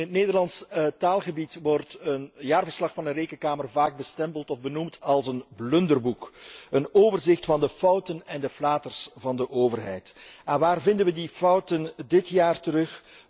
In het Nederlandse taalgebied wordt een jaarverslag van de rekenkamer vaak bestempeld of benoemd als een blunderboek, een overzicht van de fouten en de flaters van de overheid. Waar vinden we die fouten dit jaar terug?